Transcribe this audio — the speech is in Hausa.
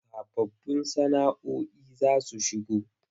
Sababbun sana”oi za su shigo.